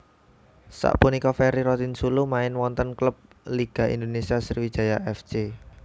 Sapunika Ferry Rotinsulu main wonten klub Liga Indonésia Sriwijaya F C